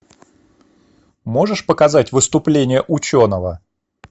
можешь показать выступление ученого